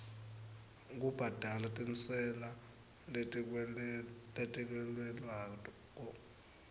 kubhadala tintsela letikweletwako